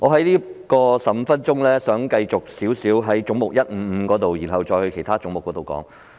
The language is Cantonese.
我想利用15分鐘的發言時間先討論總目 155， 再討論其他總目。